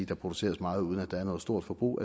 der produceres meget uden at der er noget stort forbrug